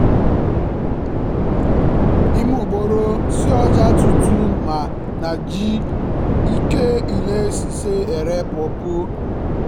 ìmúgbòòrò sí ọjà tuntun máa ń jẹ́ kí ilé-iṣẹ́ ní èrè púpọ̀